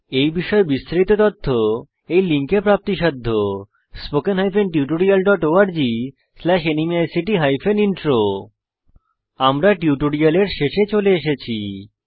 এই বিষয়ে বিস্তারিত তথ্য এই লিঙ্কে প্রাপ্তিসাধ্য http স্পোকেন tutorialorgnmeict ইন্ট্রো আমরা টিউটোরিয়ালের শেষে চলে এসেছি